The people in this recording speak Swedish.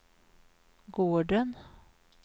gården